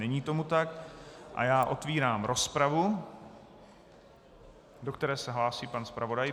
Není tomu tak a já otevírám rozpravu, do které se hlásí pan zpravodaj.